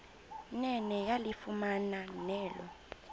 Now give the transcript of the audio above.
nene yalifumana elo